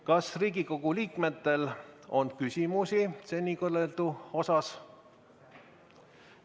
Kas Riigikogu liikmetel on küsimusi seni kõneldu kohta?